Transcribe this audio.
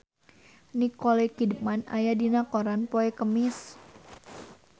Nicole Kidman aya dina koran poe Kemis